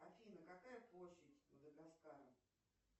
афина какая площадь мадагаскара